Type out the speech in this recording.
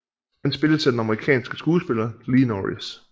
Han spilles af den amerikanske skuespiller Lee Norris